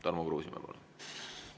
Tarmo Kruusimäe, palun!